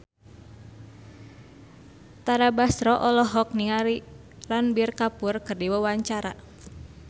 Tara Basro olohok ningali Ranbir Kapoor keur diwawancara